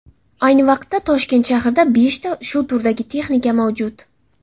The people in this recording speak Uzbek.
Ayni vaqtda Toshkent shahrida beshta shu turdagi texnika mavjud.